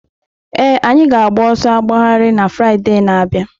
Ee, anyị ga-agba ọsọ agbagharị na Fraịde na-abịa.